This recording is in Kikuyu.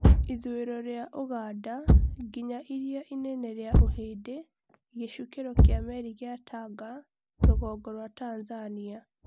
ithuĩro ria Uganda nginya iria inene ria ũhindĩ, gĩcukĩro kĩa meri kĩa Tanga rũgongo rwa Tanzania